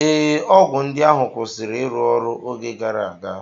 Ee, ọgwụ ndị ahụ kwụsịrị ịrụ ọrụ oge gara aga